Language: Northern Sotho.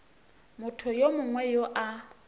motho yo mongwe yo a